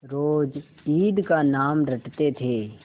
रोज ईद का नाम रटते थे